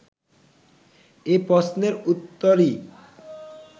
এ প্রশ্নের উত্তরই